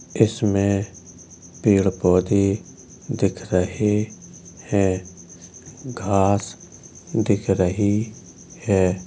इसमें पेड़ पौधे दिख रहे है। घास दिख रही हैं।